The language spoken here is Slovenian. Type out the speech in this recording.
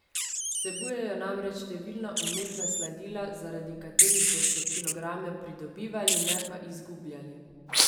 Vsebujejo namreč številna umetna sladila, zaradi katerih boste kilograme pridobivali, ne pa izgubljali.